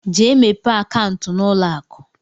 Jee mepee akaụntụ n'ụlọakụ!